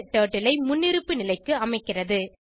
turtle ஐ முன்னிருப்பு நிலைக்கு அமைக்கிறது